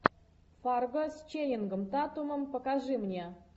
фарго с ченнингом татумом покажи мне